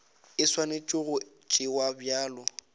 e swanetše go tšewa bjalo